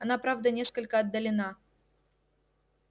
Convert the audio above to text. она правда несколько отдалена